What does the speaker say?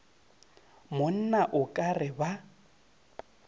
monna o ka re ba